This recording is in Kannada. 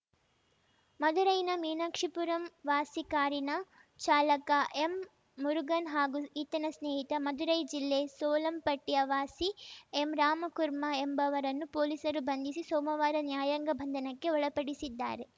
ಮಧುರೈನ ಮೀನಾಕ್ಷಿಪುರಂ ವಾಸಿ ಕಾರಿನ ಚಾಲಕ ಎಂ ಮುರುಗನ್‌ ಹಾಗೂ ಈತನ ಸ್ನೇಹಿತ ಮಧುರೈ ಜಿಲ್ಲೆ ಸೋಲಂಪಟ್ಟಿಯ ವಾಸಿ ಎಂ ರಾಮಕುರ್ಮಾ ಎಂಬುವರನ್ನು ಪೊಲೀಸರು ಬಂಧಿಸಿ ಸೋಮವಾರ ನ್ಯಾಯಾಂಗ ಬಂಧನಕ್ಕೆ ಒಳಪಡಿಸಿದ್ದಾರೆ